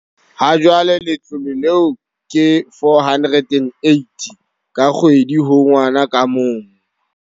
Ha jwale letlole leo ke R480 ka kgwedi ho ngwana ka mong.